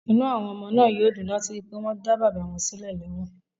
Inú àwọn ọmọ náà yóò dùn láti rí i pé wọ́n dá bàbá wọn sílẹ̀ lẹ́wọ̀n